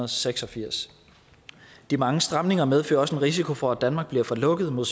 seks og firs de mange stramninger medfører også en risiko for at danmark bliver for lukket mod